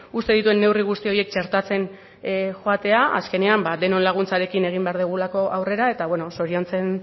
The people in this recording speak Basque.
uzten dituen neurri guzti horiek txertatzen joatea azkenean denon laguntzarekin egin behar dugulako aurrera eta bueno zoriontzen